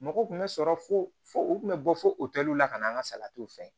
Mɔgɔ tun bɛ sɔrɔ fo fo u kun bɛ bɔ fo o tɛliw la ka na an ka salatiw fɛ